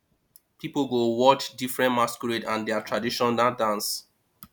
pipo go fit watch diffrent masquerade and dia traditional dance